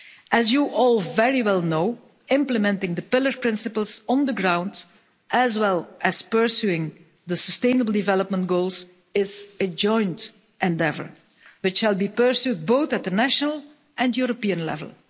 As you all very well know, implementing the Pillar principles on the ground, as well as pursuing the sustainable development goals, is a joint endeavour which will be pursued both at the national and European level.